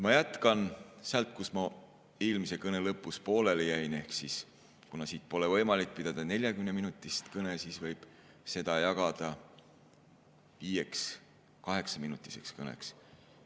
Ma jätkan sealt, kus ma eelmise kõne lõpus pooleli jäin, ehk kuna siit pole võimalik pidada 40‑minutilist kõnet, siis võib selle jagada viieks 8‑minutiliseks kõneks.